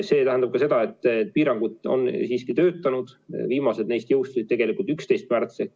See tähendab ka seda, et piirangud on töötanud, viimased neist jõustusid 11. märtsil.